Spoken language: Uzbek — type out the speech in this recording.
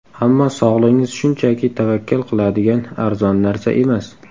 Ammo sog‘lig‘ingiz shunchaki tavakkal qiladigan arzon narsa emas.